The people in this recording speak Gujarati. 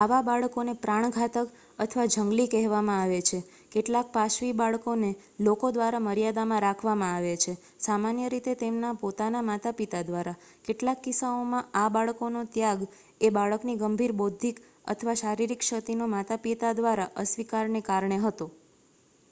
"આવા બાળકોને "પ્રાણઘાતક" અથવા જંગલી કહેવામાં આવે છે. કેટલાક પાશવી બાળકોને લોકો દ્વારા મર્યાદામાં રાખવામા આવે છે સામાન્ય રીતે તેમના પોતાના માતાપિતા દ્વારા; કેટલાક કિસ્સાઓમાં આ બાળકનો ત્યાગ એ બાળકની ગંભીર બૌદ્ધિક અથવા શારીરિક ક્ષતિનો માતાપિતા દ્વારા અસ્વીકારને કારણે હતો.